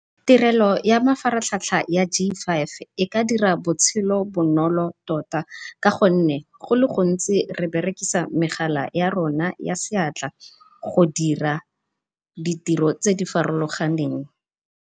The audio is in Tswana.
Tirelo ya mafaratlhatlha ya G five e ka dira botshelo bonolo tota, ka gonne gole gontsi re berekisa megala ya rona ya seatla go dira ditiro tse di farologaneng.